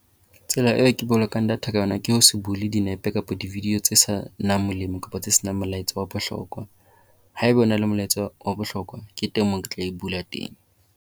Tsela eo ke bolokang data ka ona ke ho se bule dinepe kapa di-video tse senang molemo kapa tse senang molaetsa wa bohlokwa. Haeba o na le molaetsa wa bohlokwa ke teng moo ke tla e bula teng.